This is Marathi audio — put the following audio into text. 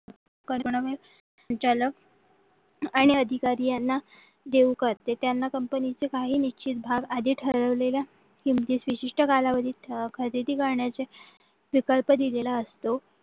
संचालक आणि अधिकारी याना देऊ करते त्यांना कंपनीचे काही निश्चित भाग आधी ठरवलेल्या किमतीची विशिष्ट कालावधी खरेदी करण्याचे विकल्प दिलेला असतो.